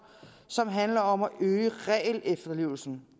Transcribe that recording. og som handler om at øge regelefterlevelsen